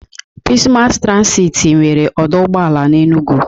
Pis Mass Transiti nwere ọdọ ụgbọala n'Enugwu.